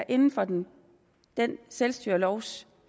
inden for den den selvstyrelovs